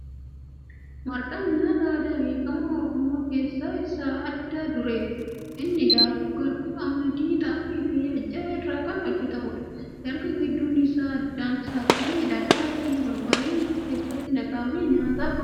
Marqaan nyaata aadaa beekamaa Oromoo keessa isa adda dureedha. Innis daakuu garbuu, qamadii, xaafii fi aajjaa irraa kan hojjatamuudha. Erga gidduun isaa addaan saaqamee dhadhaa fi barbareen keessatti naqamee nyaataf qophaa'a.